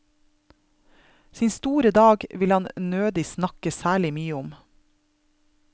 Sin store dag vil han nødig snakke særlig mye om.